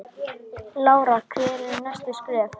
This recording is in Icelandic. Lára: Hver eru næstu skerf?